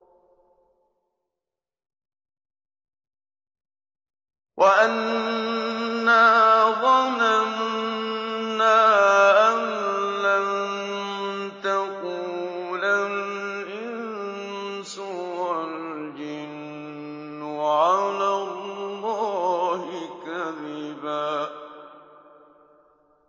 وَأَنَّا ظَنَنَّا أَن لَّن تَقُولَ الْإِنسُ وَالْجِنُّ عَلَى اللَّهِ كَذِبًا